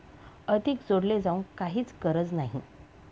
अधिक जोडले जाऊ काहीच गरज नाही!